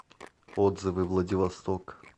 отзывы владивосток